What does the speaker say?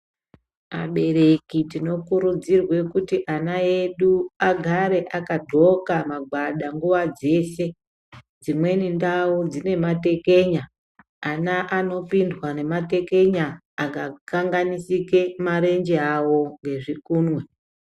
Abereki tinokurudzirwe kuti ana edu agare akagqoka magwada nguwa dzese dzimweni ndau dzine matekenya ana anopindwa nematekenya akakanganisike marenje awo nezvikunwe.